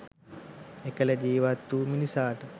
එකල ජීවත් වූ මිනිසාට